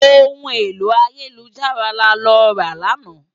Óhún éló àyélújárà lálòrá làná